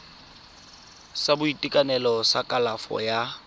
sa boitekanelo sa kalafo ya